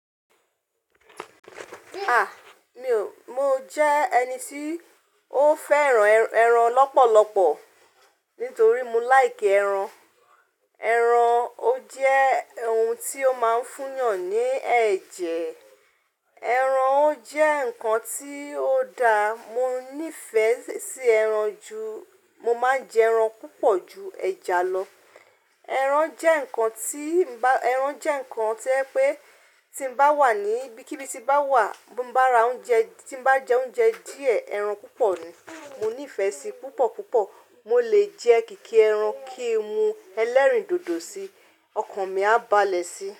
Ah! Mi ò, mo jẹ́ ẹni tí ó fẹ́ràn ẹran lọ́pọ̀lọpọ̀ nítorí mo laiki ẹran. Ẹran ó jẹ́ ohun tí ó máa ń fún yàn ní ẹ̀jẹ̀. Ẹran ó jẹ́ nǹkan tí ó da. Mo nífẹ̀ẹ́ sí ẹran ju, mo máa ń jẹ ẹran púpọ̀ ju ẹja lọ. Ẹran jẹ́ nǹkan tí ń bá, ẹran jẹ́ nǹkan tí je pé tí mo bá wà ní ibí kí bí tí bá wà, bi bá ra oúnjẹ, tí bá jẹ oúnjẹ díẹ̀, ẹran púpọ̀ ni. Mo nífẹ̀ẹ́ sí i púpọ̀ púpọ̀. Mo lè jẹ kìkì ẹran kí n mu ẹlẹ́rìndòdò si, ọkàn mi á balẹ̀ sí.